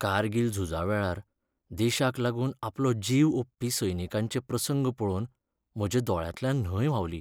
कारगील झुजावेळार देशाक लागून आपलो जीव ओंपपी सैनिकांचे प्रसंग पळोवन म्हज्या दोळ्यांतल्यान न्हंय व्हांवली.